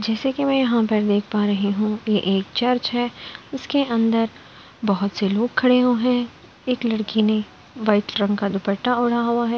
जैसे कि मैं यहाँ पर देख पा रही हूं कि ये एक चर्च है उसके अंदर बहुत से लोग खड़े हुए हैं एक लड़की ने वाइट रंग का दुपट्टा ओढ़ा हुआ है।